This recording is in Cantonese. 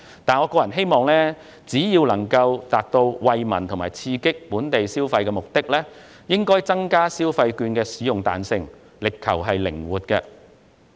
不過，我個人希望，為達到惠民及刺激本地消費的目的，當局應該增加消費券的使用彈性，力求靈活。